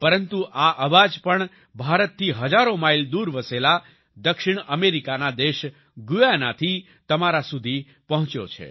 પરંતુ આ અવાજ પણ ભારતથી હજારો માઈલ દૂર વસેલા દક્ષિણ અમેરિકાના દેશ ગુયાના થી તમારા સુધી પહોંચ્યો છે